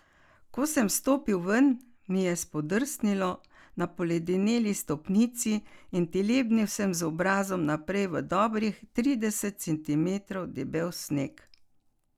Ko sem stopil ven, mi je spodrsnilo na poledeneli stopnici in telebnil sem z obrazom naprej v dobrih trideset centimetrov debel sneg.